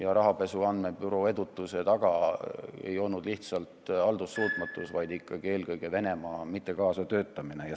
Aga rahapesu andmebüroo edutuse taga ei olnud lihtsalt haldussuutmatus, vaid ikkagi eelkõige Venemaa keeldumine kaasa töötada.